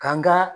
Kan ga